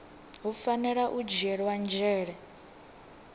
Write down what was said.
hu fanela u dzhielwa nzhele